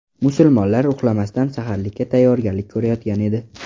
Musulmonlar uxlamasdan saharlikka tayyorgarlik ko‘rayotgan edi.